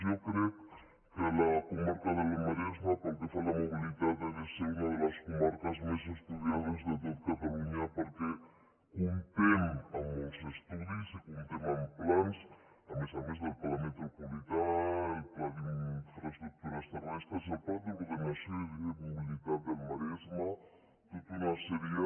jo crec que la comarca del maresme pel que fa a la mobilitat ha de ser una de les comarques més estudiades de tot catalunya perquè comptem amb molts estudis i comptem amb plans a més a més del pla metropolità el pla d’infraestructures terrestres el pla d’ordenació i de mobilitat del maresme tota una sèrie